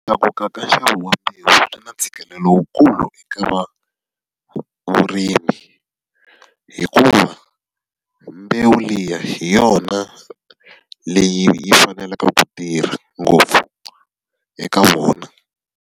Ku tlakuka ka nxavo wa mbewu na ntshikelelo lowukulu eka vurimi, hikuva mbewu liya hi yona leyi yi faneleke ku tirha ngopfu eka vona.